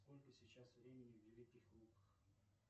сколько сейчас времени в великих луках